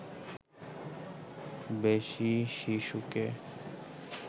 বেশি শিশুকে